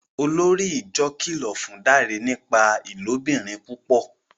Olórí ìjọ kìlọ fún Dare nípa ilobìrin púpọ